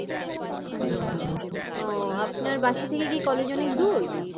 আচ্ছা ও আপনার বাসা থেকে কি college অনেক দূর?